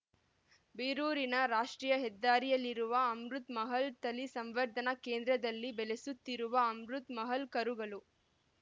ಬೀರೂರಿನ ರಾಷ್ಟೀಯ ಹೆದ್ದಾರಿಯಲ್ಲಿರುವ ಅಮೃತ್‌ ಮಹಲ್‌ ತಳಿ ಸಂವರ್ಧನಾ ಕೇಂದ್ರದಲ್ಲಿ ಬೆಳೆಸುತ್ತಿರುವ ಅಮೃತ್‌ ಮಹಲ್‌ ಕರುಗಳು